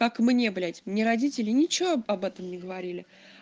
как мне блять мне родители ничего об этом не говорили